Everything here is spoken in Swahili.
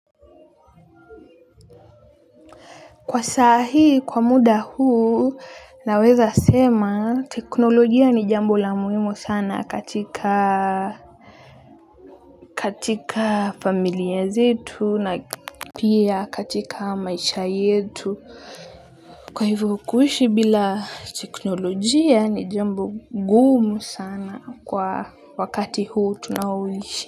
Kwa sahii, kwa muda huu, naweza sema teknolojia ni jambo la muhimu sana katika familia zetu na pia katika maisha yetu. Kwa ivo kuishi bila teknolojia ni jambo gumu sana kwa wakati huu tunaoishi.